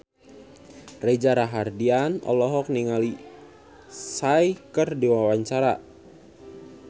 Reza Rahardian olohok ningali Psy keur diwawancara